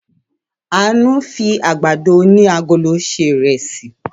Àánú fi àgbàdo oní agolo se ìrẹsì.